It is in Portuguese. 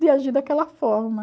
de agir daquela forma.